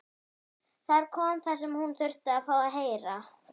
Þar kom það sem hún þurfti að fá að heyra.